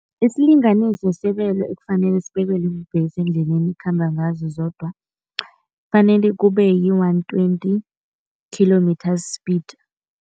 Isilinganiso sebelo ekufanele sibekelwe iimbhesi eendleleni ekhamba ngazo zodwa, kufanele kube yi-one twenty kilometre speed.